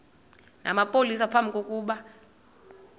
namapolisa phambi kokuba